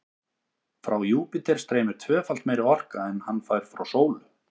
Frá Júpíter streymir tvöfalt meiri orka en hann fær frá sólu.